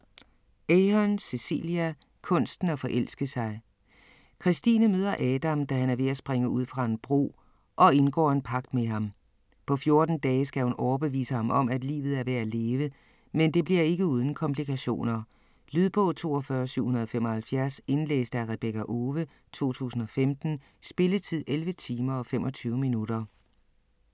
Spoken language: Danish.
Ahern, Cecelia: Kunsten at forelske sig Christine møder Adam, da han er ved at springe ud fra en bro, og indgår en pagt med ham. På 14 dage skal hun overbevise ham om, at livet er værd at leve, men det bliver ikke uden komplikationer. Lydbog 42775 Indlæst af Rebekka Owe, 2015. Spilletid: 11 timer, 25 minutter.